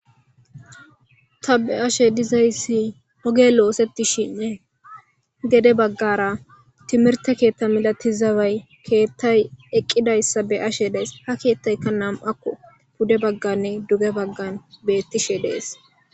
Ta be'ashe diza issi oge oosettishinne gede baggara timirte keetta milatizabay keettay eqqida issa be'ashe dees. Ha keettayikka nam'akko pude bagganne duge baggan bettishe dees.